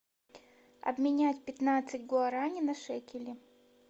обменять пятнадцать гуарани на шекели